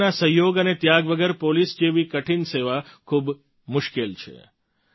પરિવારના સહયોગ અને ત્યાગ વગર પોલીસ જેવી કઠિન સેવા ખૂબ જ મુશ્કેલ છે